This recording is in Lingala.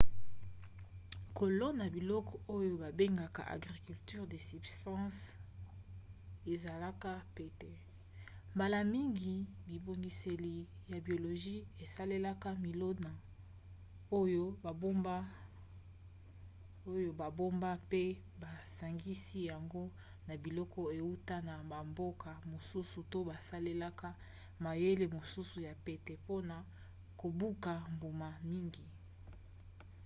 kolona biloko oyo babengaka agriculture de subsistance ezalaka pete mbala mingi bibongiseli ya biologie esalelaka milona oyo babomba mpe basangisi yango na biloko euta na bamboka mosusu to basalelaka mayele mosusu ya pete pmona kobuka mbuma mingi